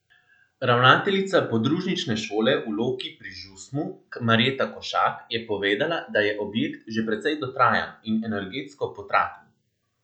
Ravnateljica podružnične šole v Loki pri Žusmu Marjeta Košak je povedala, da je objekt že precej dotrajan in energetsko potraten.